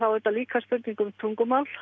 þetta líka spurning um tungumál